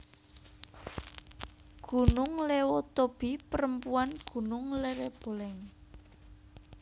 Gunung LewotobiPerempuanGunung Lereboleng